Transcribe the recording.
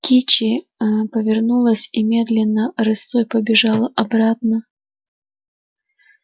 кичи ээ повернулась и медленно рысцой побежала обратно